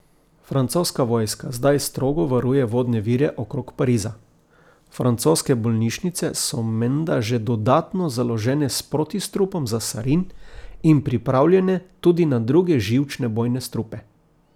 Francoska vojska zdaj strogo varuje vodne vire okrog Pariza, francoske bolnišnice so menda že dodatno založene s protistrupom za sarin in pripravljene tudi na druge živčne bojne strupe.